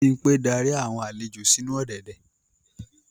Bimpe darí awọn alejo sinu ọ̀dẹ̀dẹ̀.